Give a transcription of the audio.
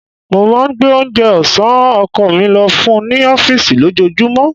Mo máa ń gbé oúnjẹ ọ̀sán ọkọ̀ mi lọ fún un ní ọfísì lójoojúmọ́